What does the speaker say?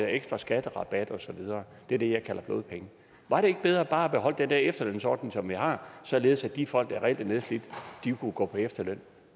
ekstra skatterabat og så videre det er det jeg kalder blodpenge var det ikke bedre bare at beholde den der efterlønsordning som vi har således at de folk der reelt er nedslidt kunne gå på efterløn